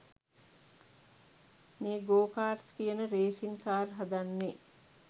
මේ go karts කියන racing car හදන්නෙ.